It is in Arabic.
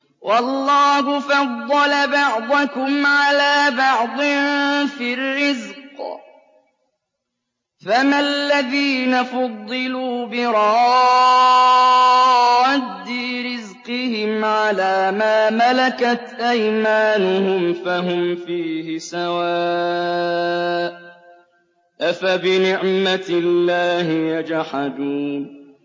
وَاللَّهُ فَضَّلَ بَعْضَكُمْ عَلَىٰ بَعْضٍ فِي الرِّزْقِ ۚ فَمَا الَّذِينَ فُضِّلُوا بِرَادِّي رِزْقِهِمْ عَلَىٰ مَا مَلَكَتْ أَيْمَانُهُمْ فَهُمْ فِيهِ سَوَاءٌ ۚ أَفَبِنِعْمَةِ اللَّهِ يَجْحَدُونَ